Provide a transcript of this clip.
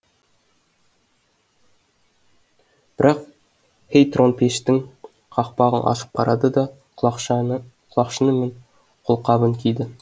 бірақ хейторн пештің қақпағын ашып қарады да құлақшыны мен қолқабын киді